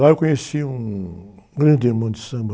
Lá eu conheci um grande irmão de samba,